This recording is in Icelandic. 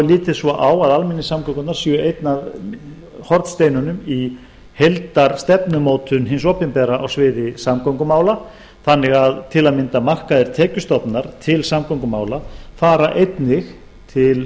er litið svo á að almenningssamgöngurnar séu einn af hornsteinunum í heildarstefnumótun hins opinbera á sviði samgöngumála þannig að til að mynda markaðir tekjustofnar til samgöngumála fara einnig til